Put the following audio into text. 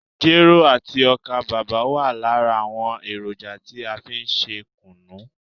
Jero àti ọ́kà bàbà wa lára àwọn èròjà tí a fí n ṣe kùnú.